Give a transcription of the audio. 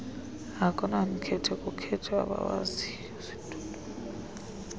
akunamkhethe kukhetha abawaziyo